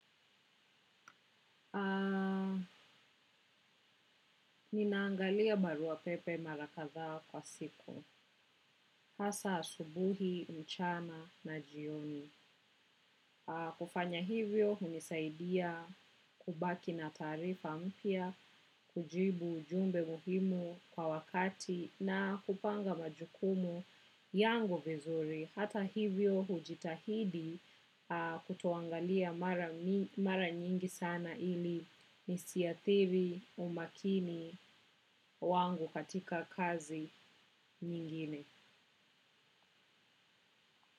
Ninaangalia baruapepe mara katha kwa siku. Hasa asubuhi mchana na jioni. Kufanya hivyo hunisaidia kubaki na taarifa mpya, kujibu ujumbe muhimu kwa wakati na kupanga majukumu yangu vizuri. Hata hivyo hujitahidi kutoangalia mara nyingi sana ili nisiathiri umakini wangu katika kazi nyingine.